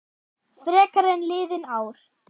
Frekar en liðin ár.